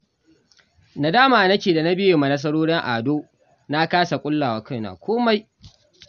Nadama nake da na biye wa nasarorin Ado, na kasa ƙulla wa kaina komai